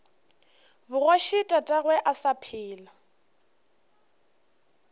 bogoši tatagwe a sa phela